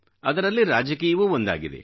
ಅದರಲ್ಲಿ ರಾಜಕೀಯವೂ ಒಂದಾಗಿದೆ